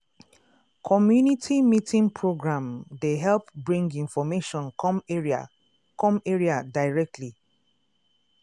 community meeting program um dey help bring information come area come area directly.